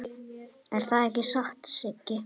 Er það ekki satt, Siggi?